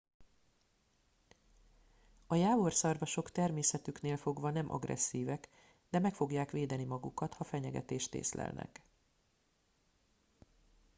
a jávorszarvasok természetüknél fogva nem agresszívek de meg fogják védeni magukat ha fenyegetést észlelnek